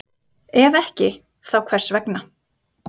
Ef ekki, þá hvers vegna?